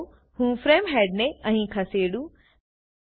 ચાલો હું ફ્રેમ હેડને અહીં ખસેડું